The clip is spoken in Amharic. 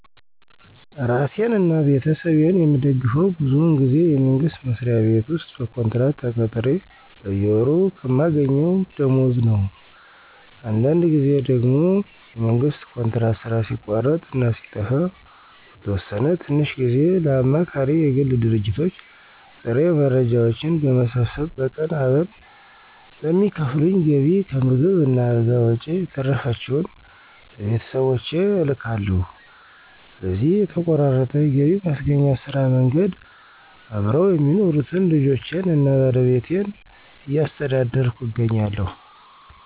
እራሴን አና ቤተሰቤን የምደግፈው ብዙውን ጊዜ የመንግስት መስሪያ ቤት ውስጥ በኮንትራት ተቀጥሬ በየወሩ ከማገኘው ደሞወዝ ነው። አንዳንድ ጊዜ ደግሞ የመንግስት ኮንትራት ሥራ ሲቋረጥ እና ሲጠፋ ለተወሰነ ትንሽ ጊዜ ለአማካሪ የግል ድርጅቶች ጥሬ መረጃዎችን በመሰብሰብ በቀን አበል በሚከፍሉኝ ገቢ ከምግብ እና አልጋ ወጭ የተረፈችውን ለቤተሰቦቼ እልካለሁ። በዚሁ በተቆራረጠ የገቢ ማስገኛ ስራ መንገድ አብረው የሚኖሩትን ልጆቼን አና ባለቤቴን እያስተዳደርኩ እገኛለሁ።